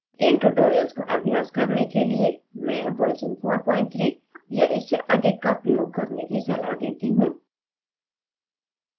इन tutorials का अभ्यास करने के लिए मैं version 43 या इससे अधिक का प्रयोग करने की सलाह देती हूँ